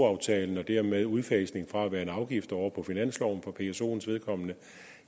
aftalen og dermed udfasning fra at være en afgift og over på finansloven for psoens vedkommende